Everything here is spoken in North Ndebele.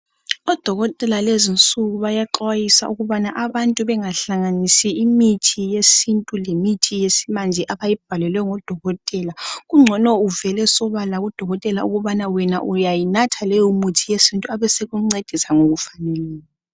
Odokotela lezinsuku bayaxwayisa ukubanana abantu bangahlanganisi imithi yesintu lemithi yesimanje abayibhalelwe ngodokotela, ungcono kuvele sobala kudokotela ukubana wena uyayinatha leyo mithi yesintu abesekuncedisa ngokufaneleyo